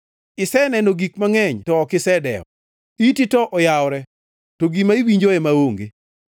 Iseneno gik mangʼeny, to ok isedewo; iti to oyawore, to gima iwinjo ema onge.”